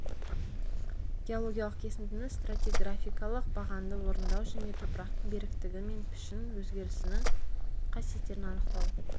геологиялық кесіндіні стратиграфикалық бағанды орындау және топырақтың беріктігі мен пішін өзгерісінің қасиеттерін анықтау